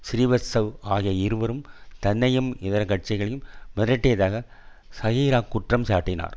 சிறீவத்சவ் ஆகிய இருவரும் தன்னையும் இதர சாட்சிகளையும் மிரட்டியதாக சாஹிரா குற்றம் சாட்டினார்